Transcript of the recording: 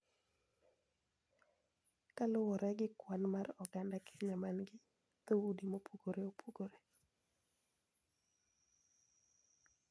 Kaluwore gi kwan mar oganda Kenya ma gin dhoudi mopogore opogore.